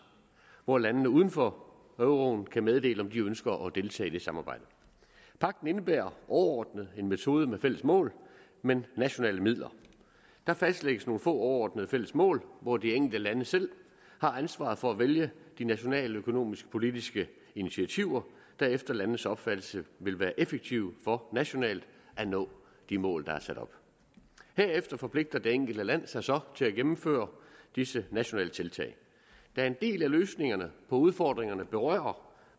hvor landene uden for euroen kan meddele om de ønsker at deltage i det samarbejde pagten indebærer overordnet en metode med fælles mål men nationale midler der fastlægges nogle få overordnede fælles mål hvor de enkelte lande selv har ansvaret for at vælge de nationaløkonomiske politiske initiativer der efter landenes opfattelse vil være effektive for nationalt at nå de mål der er sat op herefter forpligter det enkelte land sig så til at gennemføre disse nationale tiltag da en del af løsningerne på udfordringerne berører